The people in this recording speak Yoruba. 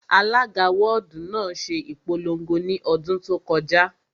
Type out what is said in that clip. Alága wọ́ọ̀dù náà ṣe ìpolongo ní ọdún tó kọjá